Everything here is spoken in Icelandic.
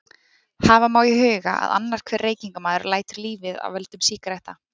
hafa má í huga að annar hver reykingamaður lætur lífið af völdum sígaretta